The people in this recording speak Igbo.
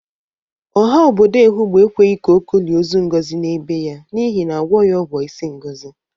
Ọha obodo Ehụgbọ ekweghi ka Oko lie ọzọ Ngozi n'ebe ya n'ihi na ọ agwọghi ọgwọ isi Ngọzị.